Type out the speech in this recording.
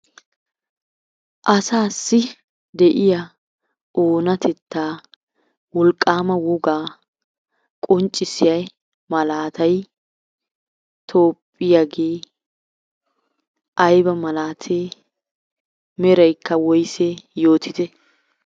Asaassi de'iya oonatettaa wolqqaama wogaa qonccissiyay malaatay Toophphiyagee ayba malaatee, meraykka woysee yootite.